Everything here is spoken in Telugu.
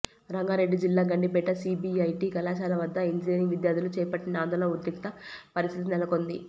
రంగారెడ్డి జిల్లా గండిపేట సీబీఐటీ కళాశాల వద్ద ఇంజనీరింగ్ విద్యార్థులు చేపట్టిన ఆందోళన ఉద్రిక్త పరిస్థితి నెలకొంది